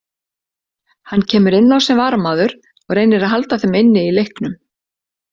Hann kemur inn á sem varamaður og reynir að halda þeim inni í leiknum.